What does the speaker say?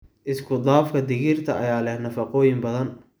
Isku-dhafka digirta ayaa leh nafaqooyin badan.